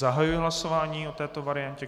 Zahajuji hlasování o této variantě.